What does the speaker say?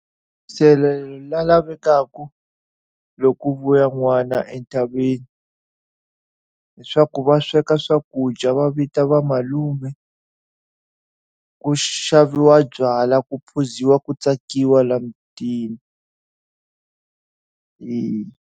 Nsirhelelo lowu lavekaka loko ku vuya n'wana entshaveni, hileswaku va sweka swakudya va vita va malume, ku xaviwa byala, ku phuziwa, ku tsakiwa laha mutini.